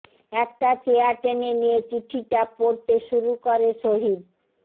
একটা চেয়ার টেনে নিয়ে চিঠিটা পড়তে শুরু করে শহীদঃ